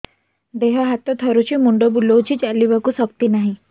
ଦେହ ହାତ ଥରୁଛି ମୁଣ୍ଡ ବୁଲଉଛି ଚାଲିବାକୁ ଶକ୍ତି ନାହିଁ